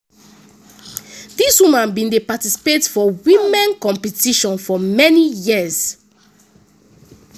dis woman bin dey participate for women competition for many years.”